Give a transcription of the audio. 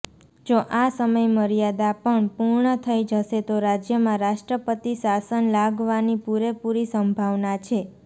જો આ સમયમર્યાદા પણ પૂર્ણ થઇ જશે તો રાજ્યમાં રાષ્ટ્રપતિ શાસન લાગવાની પુરેપુરી સંભાવના છે